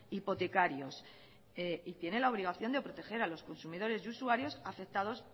hipotecarios y tiene la obligación de proteger a los consumidores y usuarios afectados